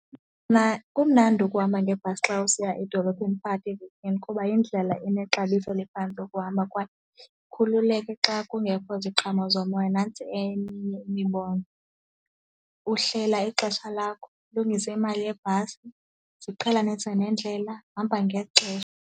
Mna kumnandi ukuhamba ngebhasi xa usiya edolophini phakathi evekini kuba yindlela enexabiso eliphantsi yokuhamba kwaye ikhululeke xa kungekho ziqhamo zomoya nantsi eminye imibono, uhlela ixesha lakho, ulungise imali yebhasi, ziqhelanise nendlela, hamba ngexesha.